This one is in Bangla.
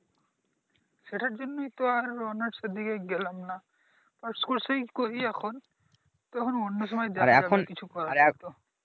সেটার জন্যই তো আরো অনার্স এর দিকে গেলাম নাহ । পাসকোর্সেই করি এখন তখন অন্য সময় দেখা যাবে কিছু করার